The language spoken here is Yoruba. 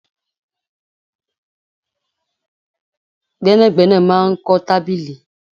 Gbẹ́nàgbẹ́nà máa ń kọ tábìlì